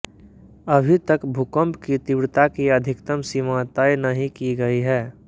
अभी तक भूकंप की तीव्रता की अधिकतम सीमा तय नहीं की गई है